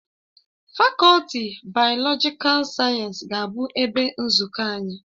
Fakọlti bayolojikal sayensị ga-abụ ebe nzukọ anyị